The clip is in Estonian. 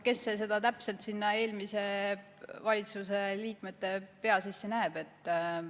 Kes see täpselt eelmise valitsuse liikmete pea sisse näeb?